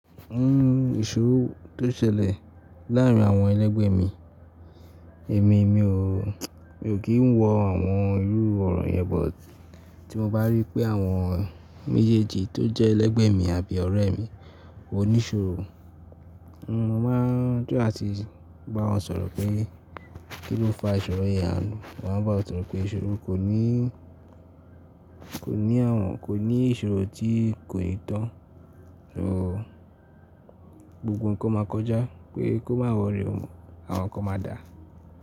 Nnu ìṣòro tó ṣẹlẹ̀ láàrín àwọn ẹlẹgbẹ́ mi, èmi o kì í wọ àwọn irú ọ̀rọ̀ yẹn, but tí mo bá rí pé àwọn méjèèjì tó jẹ́ ẹlẹgbẹ́ mi àbí ọ̀rẹ́ mi òníṣòro, mo máa ń try làti bá wọn sọ̀rọ̀ pé kí ló fa ìṣòro yẹn, mo máa ń bá wọn sọ̀rọ̀ pé ìṣòro ko ni kò ní ìṣòro tí kò ní tan, so gbogbo nǹkan máa kọjá pé kó má worry, àwọn kan máa dà.